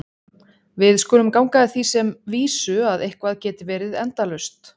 Við skulum ganga að því sem vísu að eitthvað geti verið endalaust.